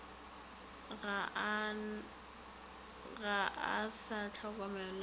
ga a sa hlokomelwa le